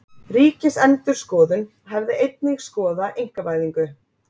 Ríkisendurskoðun hefði einnig skoða einkavæðingu